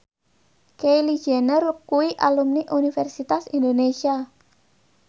Kylie Jenner kuwi alumni Universitas Indonesia